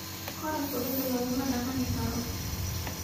Koraku cida lakumadaganikaro.